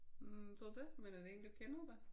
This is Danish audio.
Hm tror du det? Men er det en du kender da?